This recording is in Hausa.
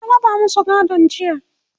an raba masu gadon jiya.